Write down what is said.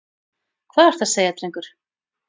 Hvað ertu að segja, drengur?